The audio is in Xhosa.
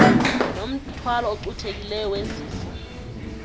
nomthwalo ocuthekileyo wezifo